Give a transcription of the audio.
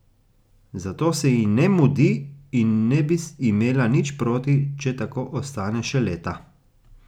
Zato se ji ne mudi in ne bi imela nič proti, če tako ostane še leta.